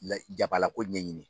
La jabalako ɲɛɲini.